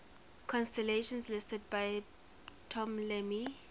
constellations listed by ptolemy